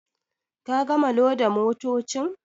Ka gama loda motocin.